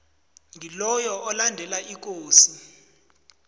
ngiloyo olandela ikosi